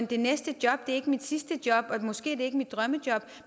det næste job er ikke mit sidste job er måske ikke mit drømmejob